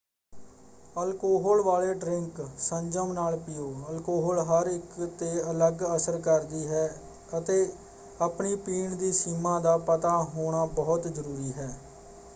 Alcohol ਵਾਲੇ drink ਸੰਜਮ ਨਾਲ ਪੀਓ। ਅਲਕੋਹਲ ਹਰ ਇੱਕ ‘ਤੇ ਅਲੱਗ ਅਸਰ ਕਰਦੀ ਹੈ ਅਤੇ ਆਪਣੀ ਪੀਣ ਦੀ ਸੀਮਾ ਦਾ ਪਤਾ ਹੋਣਾ ਬਹੁਤ ਜ਼ਰੂਰੀ ਹੈ।